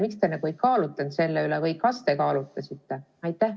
Miks te ei kaalutlenud selle üle või äkki siiski kaalutlesite?